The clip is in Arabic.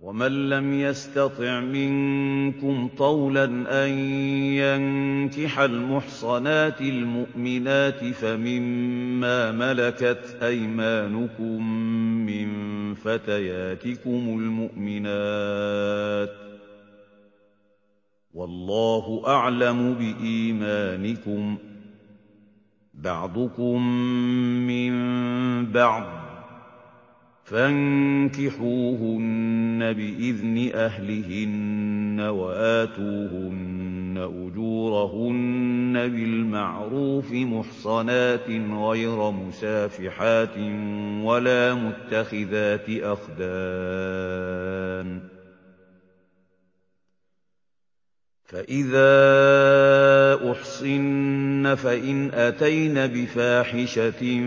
وَمَن لَّمْ يَسْتَطِعْ مِنكُمْ طَوْلًا أَن يَنكِحَ الْمُحْصَنَاتِ الْمُؤْمِنَاتِ فَمِن مَّا مَلَكَتْ أَيْمَانُكُم مِّن فَتَيَاتِكُمُ الْمُؤْمِنَاتِ ۚ وَاللَّهُ أَعْلَمُ بِإِيمَانِكُم ۚ بَعْضُكُم مِّن بَعْضٍ ۚ فَانكِحُوهُنَّ بِإِذْنِ أَهْلِهِنَّ وَآتُوهُنَّ أُجُورَهُنَّ بِالْمَعْرُوفِ مُحْصَنَاتٍ غَيْرَ مُسَافِحَاتٍ وَلَا مُتَّخِذَاتِ أَخْدَانٍ ۚ فَإِذَا أُحْصِنَّ فَإِنْ أَتَيْنَ بِفَاحِشَةٍ